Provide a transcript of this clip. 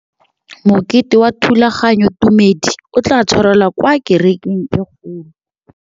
Mokete wa thulaganyôtumêdi o tla tshwarelwa kwa kerekeng e kgolo.